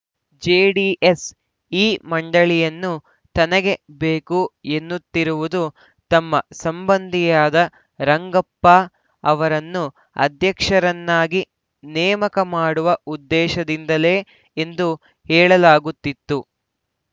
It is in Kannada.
ಜೆಡಿಎಸ್‌ ಈ ಮಂಡಳಿಯನ್ನು ತನಗೆ ಬೇಕು ಎನ್ನುತ್ತಿರುವುದು ತಮ್ಮ ಸಂಬಂಧಿಯಾದ ರಂಗಪ್ಪ ಅವರನ್ನು ಅಧ್ಯಕ್ಷರನ್ನಾಗಿ ನೇಮಕ ಮಾಡುವ ಉದ್ದೇಶದಿಂದಲೇ ಎಂದು ಹೇಳಲಾಗುತ್ತಿತ್ತು